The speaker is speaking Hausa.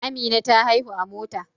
Amina ta haihu a Mota